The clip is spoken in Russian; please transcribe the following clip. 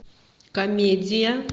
комедия